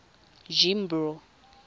jimbro